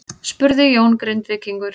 spurði Jón Grindvíkingur.